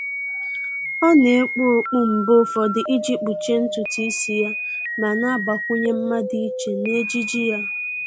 Ọ́ nà-ekpu okpu mgbe ụfọdụ iji kpuchie ntụtụ ísí yá ma nà-àgbakwụnye mma dị iche n'ejiji yá.